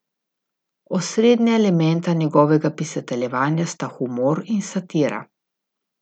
Osrednja elementa njegovega pisateljevanja sta humor in satira.